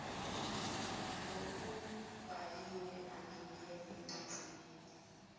ngokubhaliwe angangena emangcekeni